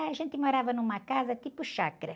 A gente morava numa casa tipo chácara.